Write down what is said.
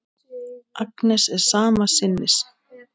Agnes er sama sinnis.